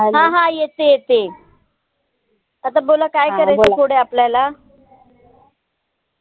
हा हा येते येते आता बोला काय करायचं पुढे आपल्याला?